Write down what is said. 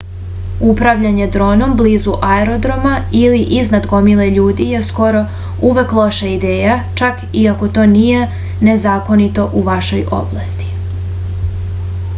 upravljanje dronom blizu aerodroma ili iznad gomile ljudi je skoro uvek loša ideja čak i ako to nije nezakonito u vašoj oblasti